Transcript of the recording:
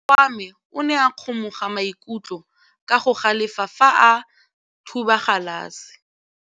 Morwa wa me o ne a kgomoga maikutlo ka go galefa fa a thuba galase.